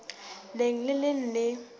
leng le le leng le